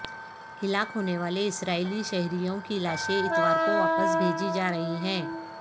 ہلاک ہونے والے اسرائیلی شہریوں کی لاشیں اتوار کو واپس بھیجی جارہی ہیں